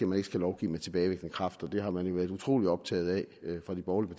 man ikke skal lovgive med tilbagevirkende kraft og det har man jo været utrolig optaget af fra de borgerlige